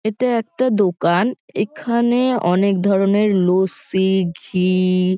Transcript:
এটা একটা দোকান। এখানে অনেক ধরণের লস্যি ঘি --